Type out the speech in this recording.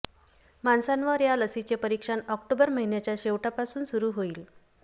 माणसांवर या लसीचे परिक्षण ऑक्टोबर महिन्याच्या शेवटापासून सुरू होईल